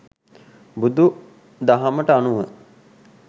බුදු දහමට අනුව